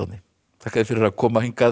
þakka þér fyrir að koma